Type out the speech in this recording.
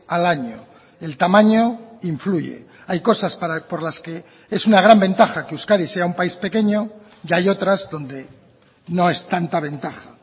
al año el tamaño influye hay cosas por las que es una gran ventaja que euskadi sea un país pequeño y hay otras donde no es tanta ventaja